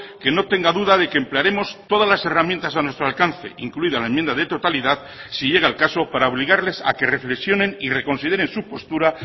que no tenga duda de que emplearemos todas las herramientas a nuestro alcance incluida la enmienda de totalidad si llega el caso para obligarles a que reflexionen y reconsideren su postura